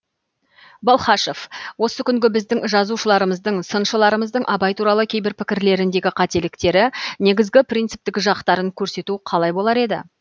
балхашев осы күнгі біздің жазушыларымыздың сыншыларымыздың абай туралы кейбір пікірлеріндегі қателіктері негізгі принциптік жақтарын көрсету қалай болар еді